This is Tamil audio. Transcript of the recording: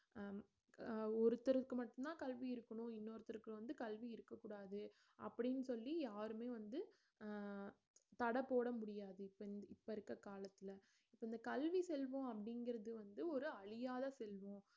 அஹ் அஹ் ஒருத்தருக்கு மட்டும்தான் கல்வி இருக்கணும் இன்னொருத்தருக்கு வந்து கல்வி இருக்கக் கூடாது அப்படின்னு சொல்லி யாருமே வந்து அஹ் தடை போட முடியாது இப்ப இந்~ இப்ப இருக்குற காலத்துல இப்ப இந்த கல்வி செல்வம் அப்படிங்கிறது வந்து ஒரு அழியாத செல்வம்